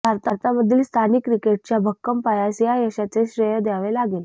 भारतामधील स्थानिक क्रिकेटच्या भक्कम पायास या यशाचे श्रेय द्यावे लागेल